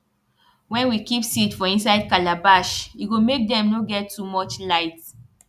wen we keep seed for inside calabash e go make dem nor get too much light